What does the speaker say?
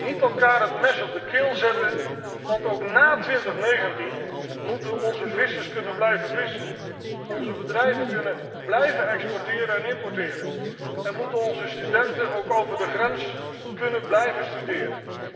Niet elkaar het mes op de keel zetten, want ook ná 2019 moeten onze vissers kunnen blijven vissen, onze bedrijven kunnen blijven exporteren en importeren, en moeten onze studenten ook over de grens kunnen blijven studeren.